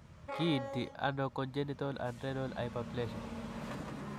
Kiinti ano congenital adrenal hyperplasia?